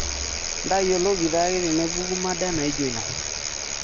intayioloki taake tenepuku mada naijo ina